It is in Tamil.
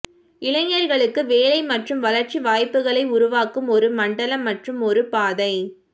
இளைஞர்களுக்கு வேலை மற்றும் வளர்ச்சி வாய்ப்புகளை உருவாக்கும் ஒரு மண்டலம் மற்றும் ஒரு பாதை